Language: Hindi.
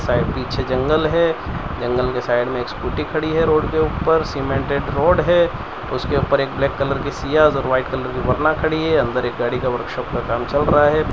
साइड पीछे जंगल है जंगल के साइड में एक स्कूटी खड़ी है रोड के ऊपर सीमेंटेड रोड है उसके ऊपर एक ब्लैक कलर की सियाज और वाइट कलर की वरना खड़ी है अंदर एक गाड़ी का वर्कशॉप का काम चल रहा है।